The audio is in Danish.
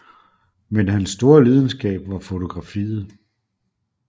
Men hans store lidenskab var fotografiet